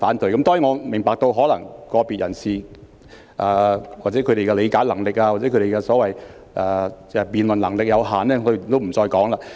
當然，我明白可能是個別人士的理解能力或辯論能力有限，我也不再多說了。